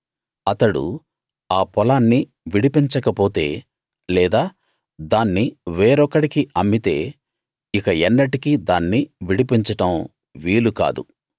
అతడు ఆ పొలాన్ని విడిపించకపోతే లేదా దాన్ని వేరొకడికి అమ్మితే ఇక ఎన్నటికీ దాన్ని విడిపించడం వీలు కాదు